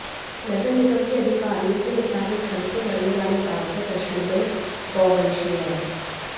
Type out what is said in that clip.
नगर निगम के अधिकारियों के मुताबिक ठंड से मरने वाले ज्यादातर पशुओं में गौवंशीय हैं